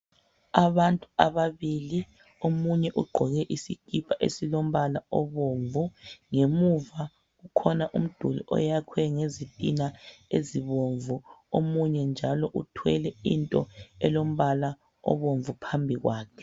Abantu ababili omunye ugqoke isikipa esilombala obomvu .Ngemuva kukhona umduli oyakhiwe ngezitina ezibomvu. Omunye njalo uthwele into elombala obomvu phambi kwakhe .